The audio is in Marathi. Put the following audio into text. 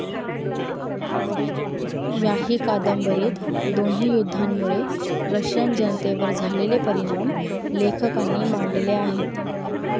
याही कादंबरीत दोन्ही युद्धांमुळे रशियन जनतेवर झालेले परिणाम लेखकांनी मांडले आहेत.